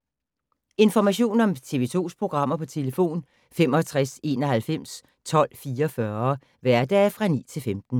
Information om TV 2's programmer: 65 91 12 44, hverdage 9-15.